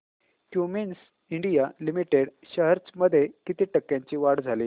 Cummins India Limited shares मध्ये किती टक्क्यांची वाढ झाली